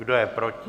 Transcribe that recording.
Kdo je proti?